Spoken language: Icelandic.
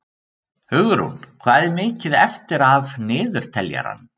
Hugrún, hvað er mikið eftir af niðurteljaranum?